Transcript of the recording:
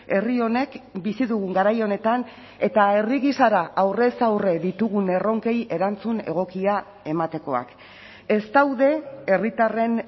herri honek bizi dugun garai honetan eta herri gisara aurrez aurre ditugun erronkei erantzun egokia ematekoak ez daude herritarren